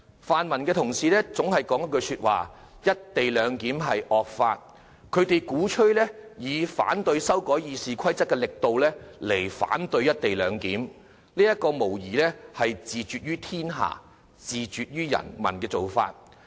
泛民同事堅持"'一地兩檢'是惡法"，鼓吹以反對修改《議事規則》的力度去反對《條例草案》，這無疑是自絕於天下，自絕於人民的做法。